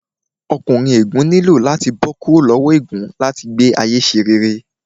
Ọkùnrin ègún nílò láti bó kúrò lowo ègún láti gbé ayé ṣe rere